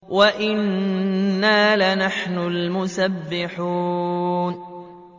وَإِنَّا لَنَحْنُ الْمُسَبِّحُونَ